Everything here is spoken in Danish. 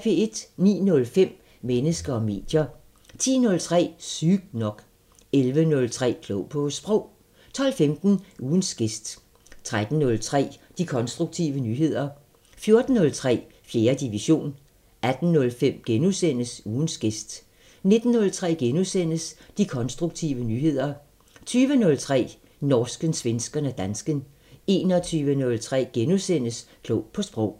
09:05: Mennesker og medier 10:03: Sygt nok 11:03: Klog på Sprog 12:15: Ugens gæst 13:03: De konstruktive nyheder 14:03: 4. division 18:05: Ugens gæst * 19:03: De konstruktive nyheder * 20:03: Norsken, svensken og dansken 21:03: Klog på Sprog *